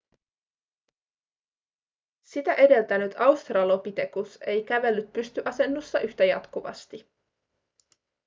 sitä edeltänyt australopithecus ei kävellyt pystyasennossa yhtä jatkuvasti